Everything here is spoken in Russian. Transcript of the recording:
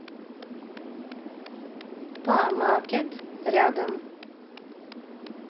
па маркет рядом